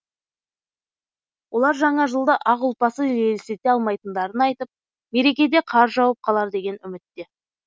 олар жаңа жылды ақ ұлпасыз елестете алмайтындарын айтып мерекеде қар жауып қалар деген үмітте